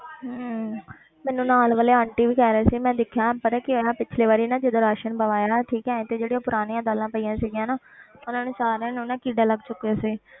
ਹਮ ਮੈਨੂੰ ਨਾਲ ਵਾਲੇ ਆਂਟੀ ਵੀ ਕਹਿ ਰਹੇ ਸੀ ਮੈਂ ਦੇਖਿਆ ਪਤਾ ਕੀ ਹੋਇਆ ਪਿੱਛਲੇ ਵਾਰੀ ਨਾ ਜਦੋਂ ਰਾਸ਼ਣ ਪਵਾਇਆ ਠੀਕ ਹੈ ਤੇ ਜਿਹੜੀ ਉਹ ਪੁਰਾਣੀਆਂ ਦਾਲਾਂ ਪਈਆਂ ਸੀਗੀਆਂ ਨਾ ਉਹਨਾਂ ਨੂੰ ਸਾਰਿਆਂ ਨੂੰ ਨਾ ਕੀੜਾ ਲੱਗ ਚੁੱਕਿਆ ਸੀ।